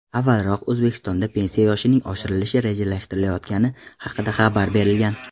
Avvalroq O‘zbekistonda pensiya yoshining oshirilishi rejalashtirilayotgani haqida xabar berilgan.